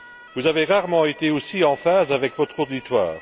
Vous avez rarement été aussi en phase avec votre auditoire.